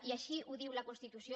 i així ho diu la constitució